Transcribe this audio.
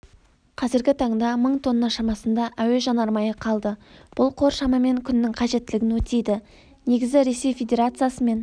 қазіргі таңда мың тонна шамасында әуежанармайы қалды бұл қор шамамен күннің қажеттілігін өтейді негізі ресей федерациясымен